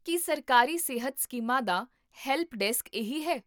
ਕੀ ਸਰਕਾਰੀ ਸਿਹਤ ਸਕੀਮਾਂ ਦਾ ਹੈਲਪ ਡੈਸਕ ਇਹੀ ਹੈ?